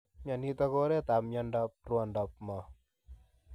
Mionitok ko oreet ap miondoop rwondoop moo.